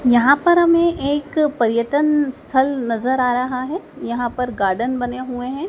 यहां पर हमें एक पर्यटन स्थल नजर आ रहा है यहां पर गार्डन बने हुए हैं।